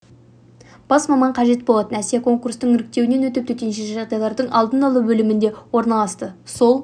бас маман қажет болатын әсия конкурстық іріктеуден өтіп төтенше жағдайлардың алдын алу бөліміне орналасты сол